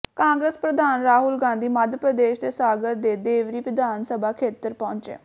ਕਾਂਗਰਸ ਪ੍ਰਧਾਨ ਰਾਹੁਲ ਗਾਂਧੀ ਮੱਧ ਪ੍ਰਦੇਸ਼ ਦੇ ਸਾਗਰ ਦੇ ਦੇਵਰੀ ਵਿਧਾਨ ਸਭਾ ਖੇਤਰ ਪਹੁੰਚੇ